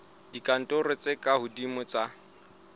dikarolong tse ka hodimo tsa